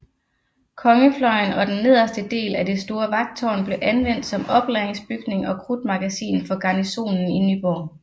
Kongefløjen og den nederste del at det store vagttårn blev anvendt som oplagringsbygning og krudtmagasin for garnisonen i Nyborg